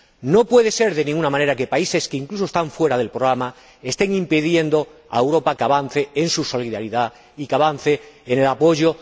No puede ser, de ninguna manera, que unos países, que incluso están fuera del programa, estén impidiendo que Europa avance en su solidaridad y que avance en este apoyo.